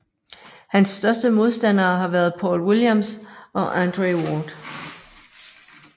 Hans største modstandere har været Paul Williams og Andre Ward